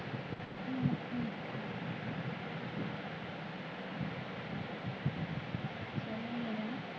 ਹਮ